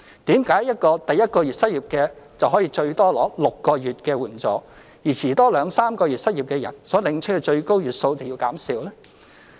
為甚麼第一個月失業的最多可以領取6個月援助，而遲兩三個月失業所領取的最高月數便要減少？